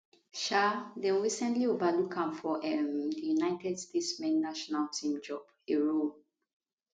um dem recently overlook am for um di united states men national team job a role